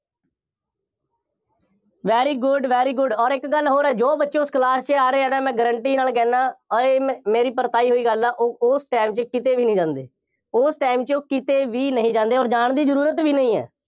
very good, very good ਅੋਰ ਇੱਕ ਗੱਲ ਹੋਰ ਹੈ, ਜੋ ਬੱਚੇ ਉਸ class ਚ ਆ ਰਹੇ ਆ, ਮੈਂ guarantee ਨਾਲ ਕਹਿੰਦਾ, ਅੋਰ ਇਹ ਮੇਰੀ ਪਰਤਾਈ ਹੋਈ ਗੱਲ ਹੈ, ਉਹ ਉਸ time ਚ ਕਿਤੇ ਵੀ ਨਹੀਂ ਜਾਂਦੇ, ਉਸ time ਚ ਉਹ ਕਿਤੇ ਵੀ ਨਹੀਂ ਜਾਂਦੇ ਅੋਰ ਜਾਣ ਦੀ ਜ਼ਰੂਰਤ ਵੀ ਨਹੀਂ ਹੈ।